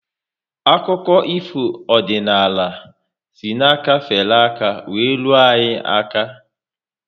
Akụkọ ifo ọdịnala si na aka fere aka were ruo anyị aka